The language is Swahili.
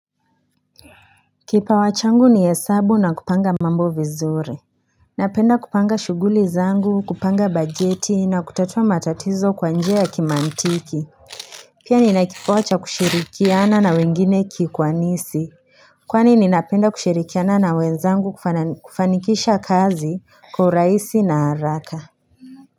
Kipa wachangu ni yesabu na kupanga mambo vizur Napenda kupanga shuguli zangu kupanga bajeti na kutatua matatizo kwa njea ya kimantiki Pia ninakipoacha kushirikiana na wengine kikwanisi Kwani ninapenda kushirikiana na wenzangu kufanikisha kazi kwa uraisi na haraka.